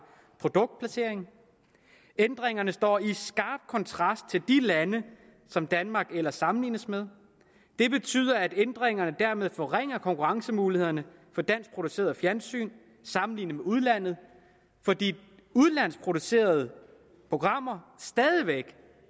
produktplacering ændringerne står i skarp kontrast til de lande som danmark ellers sammenlignes med det betyder at ændringerne dermed forringer konkurrencemulighederne for danskproduceret fjernsyn sammenlignet med udlandet fordi udenlandsk producerede programmer stadig væk